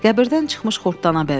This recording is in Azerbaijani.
Qəbirdən çıxmış xortdana bənzəyirdi.